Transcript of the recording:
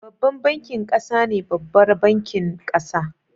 Babban bankin ƙasa ne babbar bankin ƙasa